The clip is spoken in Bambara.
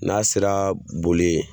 N'a sera boli ye